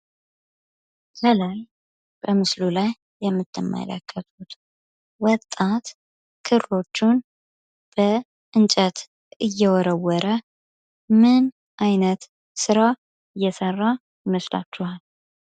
ከላይ በምስሉ ላይ የምትመለከቱት ወጣት ክሮቹን በእንጨት እየወረወረ ምን አይነት ስራ እየሰራ ይመስላችኋል?